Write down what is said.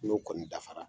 N'o kɔni dafara